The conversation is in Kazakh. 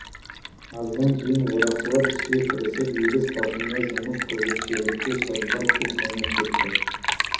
аздан кейін орақшылар іске кірісіп егіс басында жұмыс қызып шегіртке шырылдап күн қайнап кетті